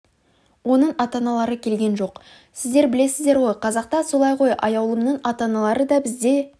оның ата-аналары келген жоқ сіздер білесіздер ғой қазақта солай ғой аяулымның ата-аналары да біз де